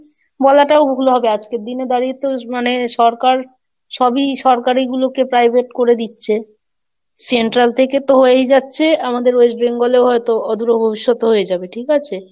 বলাটাও হবে, আজকের দিনে দাঁড়িয়ে তো মানে সরকার সবই সরকারি গুলোকে Private করে দিচ্ছে Central থেকে তো হয়েই যাচ্ছে, আমাদের West Bengal এও হয়তো অদূরও ভবিষ্যৎও হয়ে যাবে, ঠিক আছে?